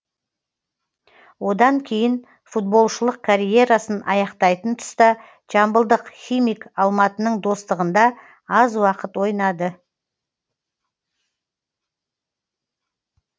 одан кейін футболшылық карьерасын аяқтайтын тұста жамбылдық химик алматының достығында аз уақыт ойнады